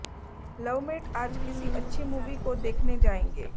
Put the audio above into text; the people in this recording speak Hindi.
लवमेट आज किसी अच्छी मूवी को देखने जायेंगे